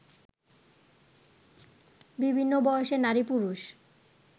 বিভিন্ন বয়সের নারী-পুরুষ